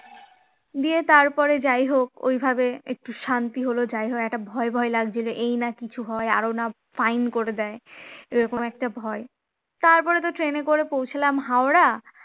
দিয়ে তারপরে যাই হোক ওইভাবে একটু শান্তি হল, যাইহোক একটা ভয় ভয় লাগছিল এই নাকি কিছু হয় আরো না fine করে দেয় এরকম একটা ভয় তারপরে তো ট্রেনে করে পৌঁছলাম হাওড়া